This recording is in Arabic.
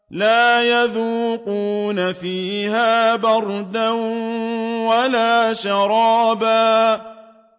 لَّا يَذُوقُونَ فِيهَا بَرْدًا وَلَا شَرَابًا